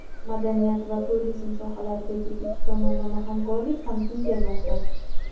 madaniyat va turizm sohalaridagi ikki tomonlama hamkorlik ham kengaymoqda.